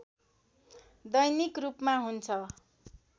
दैनिक रूपमा हुन्छ